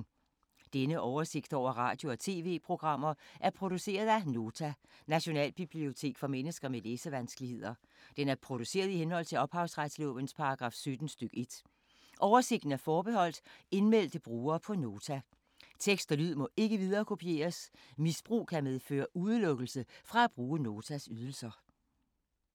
Denne oversigt over radio og TV-programmer er produceret af Nota, Nationalbibliotek for mennesker med læsevanskeligheder. Den er produceret i henhold til ophavsretslovens paragraf 17 stk. 1. Oversigten er forbeholdt indmeldte brugere på Nota. Tekst og lyd må ikke viderekopieres. Misbrug kan medføre udelukkelse fra at bruge Notas ydelser.